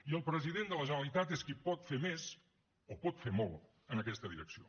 i el president de la generalitat és qui pot fer més o pot fer molt en aquesta direcció